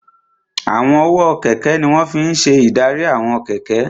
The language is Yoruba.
Àwọn ọwọ́ kẹ̀kẹ́ ní wọ́n fi n ṣe ìdarí àwọn kẹ̀kẹ́